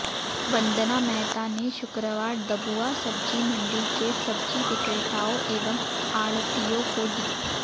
वंदना मेहता ने शुक्रवार डबुआ सब्जी मंडी के सब्जी विक्रेताओं एवं आढ़तियों को दी